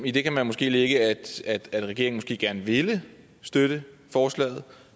i det kan man måske lægge at regeringen gerne ville støtte forslaget